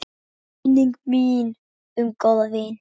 Minning mín um góðan vin.